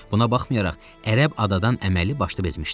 Buna baxmayaraq ərəb adadan əməlli başlı bezmişdi.